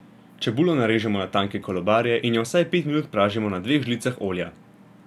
Čebulo narežemo na tanke kolobarje in jo vsaj pet minut pražimo na dveh žlicah olja.